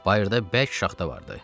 Bayırda bərk şaxta vardı.